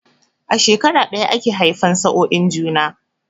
A shekara ɗaya ake haifan sa'oin juna